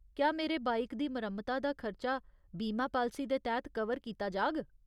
क्या मेरे बाइक दी मरम्मता दा खर्चा बीमा पालसी दे तैह्त कवर कीता जाग?